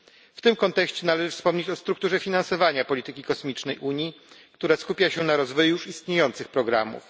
W tym kontekście należy wspomnieć o strukturze finansowania polityki kosmicznej Unii, która skupia się na rozwoju już istniejących programów.